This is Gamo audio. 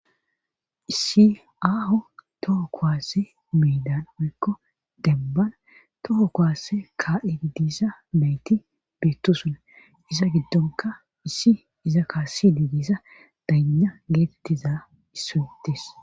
Siaaho toho kowaasse miidan oyikko dembana toho kowaasse kaa7e diidiisa beyti beettosona iza giddonka issi iza kaassi diidisa dana geetettiza issoyitis